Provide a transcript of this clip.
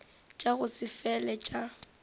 tša go se fele tša